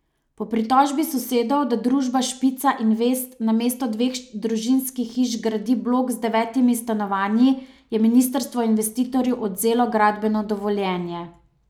Po pritožbi sosedov, da družba Špica invest namesto dveh družinskih hiš gradi blok z devetimi stanovanji, je ministrstvo investitorju odvzelo gradbeno dovoljenje.